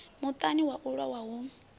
muṱani wa u lowa hu